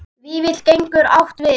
Vífill getur átt við